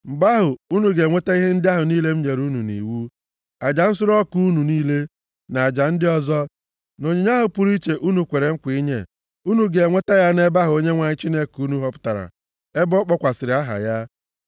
Mgbe ahụ, unu ga-eweta ihe ndị ahụ niile m nyere unu nʼiwu: aja nsure ọkụ unu niile, na aja ndị ọzọ, na onyinye ahụ pụrụ iche unu kwere nkwa inye, unu ga-eweta ya nʼebe ahụ Onyenwe anyị Chineke unu họpụtara ebe o kpọkwasịrị aha ya.